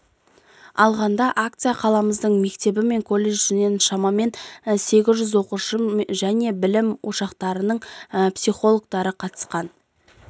алғанда акцияға қаламыздың мектебі мен колледждерінен шамамен сегіз жүз оқушы және білім ошақтарының психологтары қатысқан